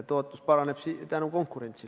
Tootlus paraneb tänu konkurentsile.